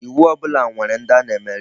Iwu ọbụla nwere ndi a na-emere ya.